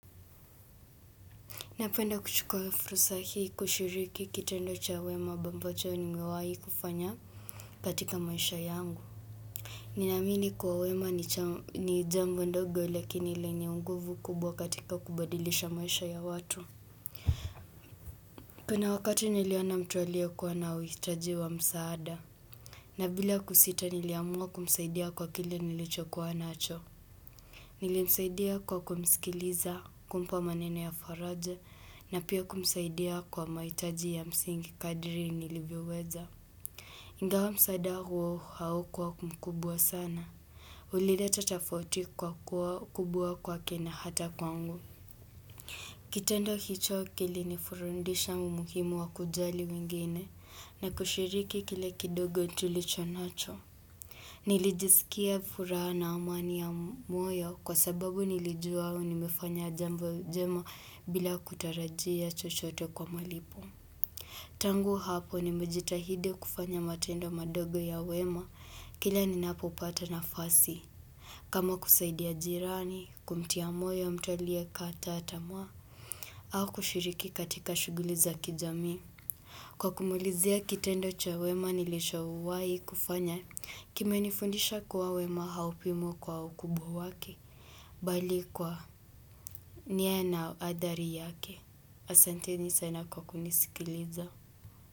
Napenda kuchukua fursa hii kushiriki kitendo cha wema ambambacho nimewahi kufanya katika maisha yangu. Ninaamini kuwa wema ni jambo ndogo lakini lenye unguvu kubwa katika kubadilisha maisha ya watu. Kuna wakati niliona mtu aliokuwa na uhitaji wa msaada. Na bila kusita niliamua kumsaidia kwa kile nilicho kuwa nacho. Nilimsaidia kwa kumisikiliza kumpa maneno ya faraja na pia kumsaidia kwa mahitaji ya msingi kadri nilivyoweza. Ingawa msaada huo haukuwa mkubwa sana. Ulileta tafauti kwa kuwa kubwa kwake na hata kwangu. Kitendo hicho kilinifurundisha umuhimu wa kujali wengine na kushiriki kile kidogo tulicho nacho. Nilijisikia furaha na amani ya moyo kwa sababu nilijua nimefanya jambo jema bila kutarajia chochote kwa malipo. Tangu hapo nimejitahidi kufanya matendo madogo ya wema kila ninapopata nafasi. Kama kusaidia jirani, kumtia moyo mtu aliyekata tamaa au kushiriki katika shughuli za kijamii. Kwa kumalizia kitendo cha wema nilishawahi kufanya kimenifundisha kuwa wema haupimwi kwa ukubwa wake bali kwa ni na adhari yake. Asanteni sana kwa kunisikiliza.